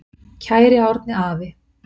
Kæri Árni afi.